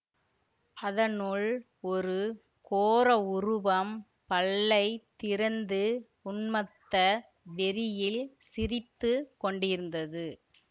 அதனுள் ஒரு கோர உருவம் பல்லை திறந்து உன்மத்த வெறியில் சிரித்து கொண்டிருந்தது